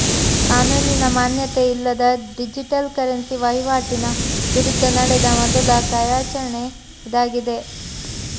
ಕಾನೂನಿನ ಮಾನ್ಯತೆ ಇಲ್ಲದ ಡಿಜಿಟಲ್ ಕರೆನ್ಸಿ ವಹಿವಾಟಿನ ವಿರುದ್ಧ ನಡೆದ ಮೊದಲ ಕಾರ್ಯಾಚರಣೆ ಇದಾಗಿದೆ